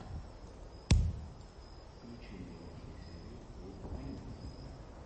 включи мне лучшую серию олдфринкс